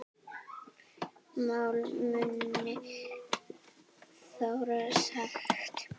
Mál munu þróast hægt.